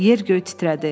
Yer-göy titrədi.